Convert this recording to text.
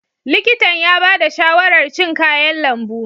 Likitan ya ba da shawarar cin kayan lambu.